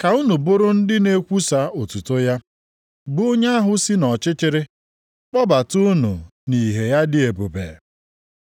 ka unu bụrụ ndị na-ekwusa otuto ya, bụ onye ahụ si nʼọchịchịrị kpọbata unu nʼìhè ya dị ebube.